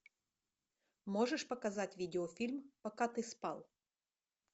можешь показать видеофильм пока ты спал